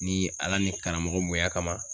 Ni ala ni karamɔgɔ bonya kama